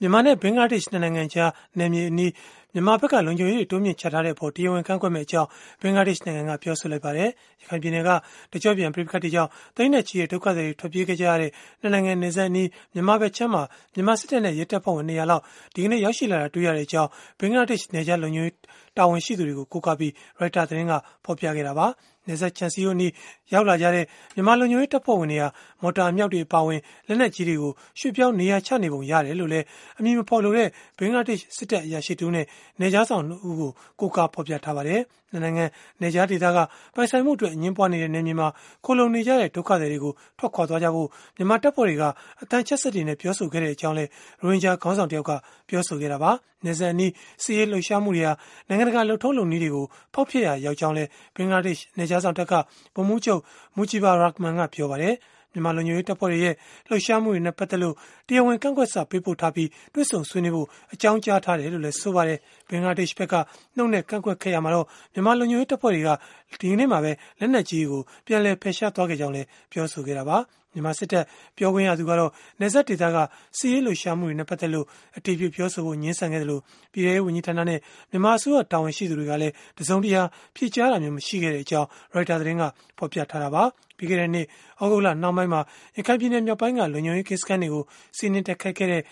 မြန်မာနဲ့ ဘင်္ဂလားဒေ့ရှ် ၂ နိုင်ငံကြားခံ နယ်မြေမှာ မြန်မာဖက်က လုံခြုံရေးတွေ တိုးမြှင့်ချထားတဲ့အပေါ် တရားဝင် ကန့်ကွက်မယ့်အကြောင်း ဘင်္ဂလားဒေ့ရှ်နိုင်ငံက ပြောဆိုလိုက်ပါတယ်။ ရခိုင်ပြည်နယ်က တကျော့ပြန် ပဋိပက္ခတွေကြောင့် သိန်းနဲ့ချီတဲ့ ဒုက္ခသည်တွေ ထွက်ပြေးခဲ့ကြတဲ့ ၂ နိုင်ငံ နယ်စပ်အနီး၊ မြန်မာဘက်ခြမ်းမှာ မြန်မာစစ်တပ်နဲ့ ရဲတပ်ဖွဲ့ဝင် ၂၀၀ လောက် ရောက်ရှိလာတာ တွေ့ရကြောင်း ဘင်္ဂလားဒေ့ရှ် နယ်ခြားလုံခြုံရေး တာဝန်ရှိသူတွေကို ကိုးကားပြီး Reuters သတင်းက ဖော်ပြခဲ့တာပါ။ နယ်စပ်ခြံစည်းရိုးအနီး ရောက်လာကြတဲ့ မြန်မာလုံခြုံရေးတပ်ဖွဲ့တွေဟာ မော်တာအမြောက်တွေ အပါအဝင် လက်နက်ကြီးတွေကို ရွှေ့ပြောင်းနေရာချနေပုံ ရတယ်လို့လည်း အမည်မဖော်လိုတဲ့ ဘင်္ဂလားဒေ့ရှ် စစ်တပ်အရာရှိတဦးနဲ့ နယ်ခြားစောင့် ၂ ဦးကို ကိုးကားဖော်ပြထားပါတယ်။ ၂ နိုင်ငံ နယ်ခြားဒေသက ပိုင်ဆိုင်မှုအတွက် အငြင်းပွားနေတဲ့ နယ်မြေမှာ ခိုလှုံနေကြတဲ့ ဒုက္ခသည်တွေကို ထွက်ခွာသွားဖို့ မြန်မာတပ်ဖွဲ့တွေက အသံချဲ့စက်တွေနဲ့ ပြောဆိုခဲ့ကြောင်းလည်း ရိုဟင်ဂျာခေါင်းဆောင် တယောက်က ပြောဆိုခဲ့တာပါ။ နယ်စပ်အနီး စစ်ရေးလှုပ်ရှားမှုတွေဟာ နိုင်ငံတကာ လုပ်ထုံးလုပ်နည်းတွေကို ဖောက်ဖျက်ရာရောက်ကြောင်းလည်း ဘင်္ဂလားဒေ့ရှ် နယ်ခြားစောင့်တပ်က ဗိုလ်မှူးချုပ် Mujibur Rahman ကပြောပါတယ်။ မြန်မာလုံခြုံရေးတပ်ဖွဲ့တွေရဲ့ လှုပ်ရှားမှုတွေနဲ့ ပတ်သက်လို့ တရားဝင်ကန့်ကွက်စာ ပေးပို့ထားပြီး၊ တေ့ွဆုံဆွေးနွေးဖို့ အကြောင်းကြားထားတယ်လို့လည်း ဆိုပါတယ်။ ဘင်္ဂလားဒေ့ရှ်ဘက်က နှုတ်နဲ့ကန့်ကွက်ခဲ့ရာမှာတော့ မြန်မာလုံခြုံရေး တပ်ဖွဲ့တွေက လက်နက်ကြီးတွေကို ပြန်လည်ဖယ်ရှားခဲ့ကြောင်းလည်း ပြောဆိုခဲ့တာပါ။ မြန်မာစစ်တပ် ပြောခွင့်ရသူကတော့ နယ်စပ်ဒေသက စစ်ရေးလှုပ်ရှားမှုတွေနဲ့ ပတ်သက်လို့ အတည်ပြုပြောဆိုဖို့ ငြင်းဆန်ခဲ့သလို၊ ပြည်ထဲရေးဝန်ကြီးဌာနနဲ့ မြန်မာအစိုးရ တာဝန်ရှိသူတွေကလည်း တစုံတရာ ဖြေကြားတာမျိုး မရှိခဲ့ကြောင်း Reuters သတင်းက ဖော်ပြခဲ့တာပါ။ ပြီးခဲ့တဲ့နှစ် သြဂုတ်လနှောင်းပိုင်းမှာ ရခိုင်ပြည်နယ် မြောက်ပိုင်းက လုံခြုံရေး ကင်းစခန်းတွေကို စီးနင်းတိုက်ခိုက်ခဲ့တဲ့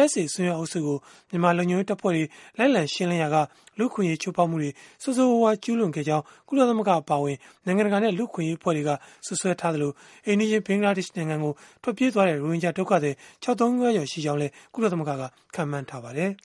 ARSA အစွန်းရောက် အုပ်စုကို မြန်မာလုံခြုံရေးတပ်ဖွဲ့တွေ လိုက်လံရှင်းလင်းရာက လူ့အခွင့်အရေး ချိုးဖောက်မှုတွေ ဆိုးဆိုးရွားရွား ကျုးလွန်ခဲ့ကြောင်း၊ ကုလသမဂ္ဂအပါအဝင် နိုင်ငံတကာနဲ့ လူ့အခွင့်အရေး အဖွဲ့တွေက စွပ်စွဲခဲ့ကြသလို၊ အိမ်နီးချင်း ဘင်္ဂလားဒေ့ရှ်နိုင်ငံကို ထွက်ပြေးခဲ့တဲ့ ရိုဟင်ဂျာ ဒုက္ခသည် ၆ သိန်းခွဲကျော် ရှိခဲ့ကြောင်းလည်း ကုလသမဂ္ဂက ခန့်မှန်းထားပါတယ်။